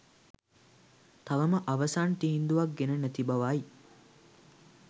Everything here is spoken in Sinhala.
තවම අවසන් තීන්දුවක් ගෙන නැති බවයි.